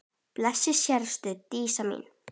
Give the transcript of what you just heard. Blessuð sértu Dísa mín.